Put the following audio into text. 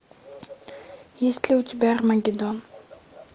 есть ли у тебя армагеддон